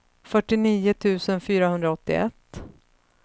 fyrtionio tusen fyrahundraåttioett